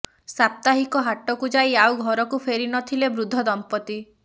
ସାପ୍ତାହିକ ହାଟକୁ ଯାଇ ଆଉ ଘରକୁ ଫେରି ନ ଥିଲେ ବୃଦ୍ଧ ଦମ୍ପତି